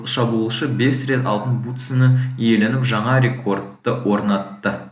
шабуылшы бес рет алтын бутсыны иеленіп жаңа рекордты орнатты